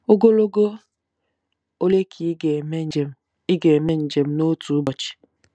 Ogologo ole ka ị ga-eme njem ị ga-eme njem n'otu ụbọchị?